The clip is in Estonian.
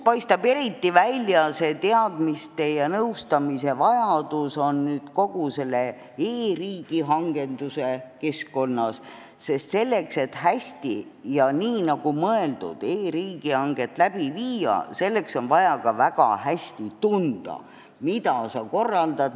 Eriti paistab see teadmiste ja nõustamise vajadus välja kogu selles e-riigihanke keskkonnas, sest selleks, et hästi ja täpselt nii, nagu on mõeldud, e-riigihanget läbi viia, on vaja ka väga hästi tunda, mida sa korraldad.